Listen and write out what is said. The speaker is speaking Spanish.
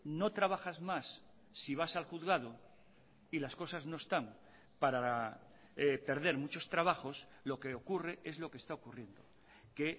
no trabajas más si vas al juzgado y las cosas no están para perder muchos trabajos lo que ocurre es lo que está ocurriendo que